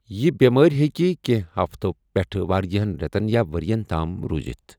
یہِ بیمٲر ہیکہِ کینٛہہ ہفتو پٮ۪ٹھ واریاہَن رٮ۪تن یا ورۍ یَن تام روٗزتھ ۔